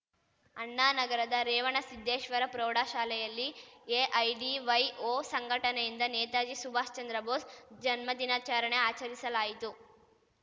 ಅಣ್ಣಾನಗರದ ರೇವಣಸಿದ್ದೇಶ್ವರ ಪ್ರೌಢಶಾಲೆಯಲ್ಲಿ ಎಐಡಿವೈಓ ಸಂಘಟನೆಯಿಂದ ನೇತಾಜಿ ಸುಭಾಷ್‌ಚಂದ್ರ ಬೋಸ್‌ ಜನ್ಮದಿನಾಚರಣೆ ಆಚರಿಸಲಾಯಿತು